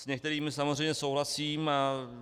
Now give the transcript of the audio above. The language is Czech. S některými samozřejmě souhlasím.